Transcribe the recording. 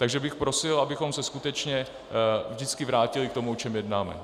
Takže bych prosil, abychom se skutečně vždycky vrátili k tomu, o čem jednáme.